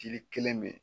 Jiri kelen bɛ yen